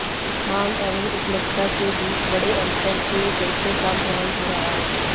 मांग एवं उपलब्धता के बीच बड़े अन्तर के चलते काम प्रभावित हो रहा है